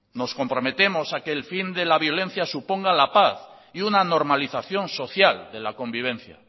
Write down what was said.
nos comprometemos a que el fin de la violencia suponga la paz y una normalización social de la convivencia